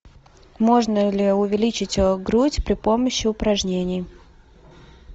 можно ли увеличить грудь при помощи упражнений